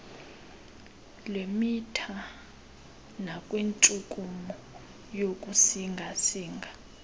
lwemitha nakwintshukumo yokusingasinga